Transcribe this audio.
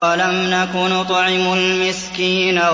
وَلَمْ نَكُ نُطْعِمُ الْمِسْكِينَ